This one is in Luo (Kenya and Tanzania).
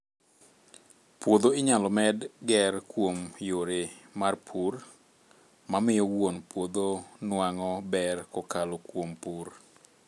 Puodho inyalo med ger kuom yore mar pur, ma miyo wuon puodho nuang'o ber kokalo kuom pur